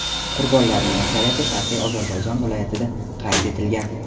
Qurbonlarning aksariyati Sharqiy Ozarbayjon viloyatida qayd etilgan.